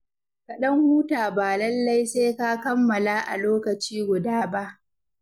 Ka ɗan huta ba lallai sai ka kammala a lokaci guda ba.